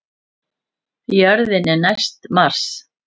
Jörðin er næst Mars!